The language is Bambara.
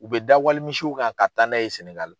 U bɛ da wali misiw kan ka taa n'a ye Sɛnɛgali.